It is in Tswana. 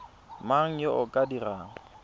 mang yo o ka dirang